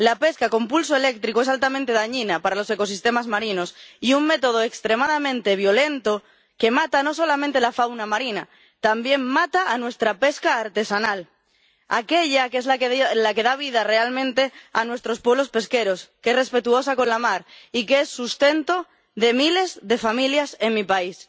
La pesca con pulso eléctrico es altamente dañina para los ecosistemas marinos y un método extremadamente violento que mata no solamente la fauna marina, también mata a nuestra pesca artesanal aquella que es la que da vida realmente a nuestros pueblos pesqueros, que es respetuosa con la mar y que es sustento de miles de familias en mi país.